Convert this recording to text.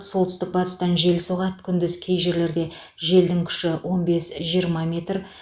солтүстік батыстан жел соғады күндіз кей жерлерде желдің күші он бес жиырма метр